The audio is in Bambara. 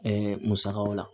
Ɛɛ musakaw la